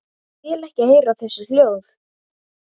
Vil ekki heyra þessi hljóð.